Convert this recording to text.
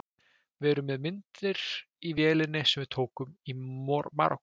Við erum með myndir í vélinni sem við tókum í Marokkó.